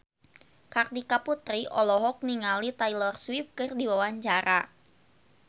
Kartika Putri olohok ningali Taylor Swift keur diwawancara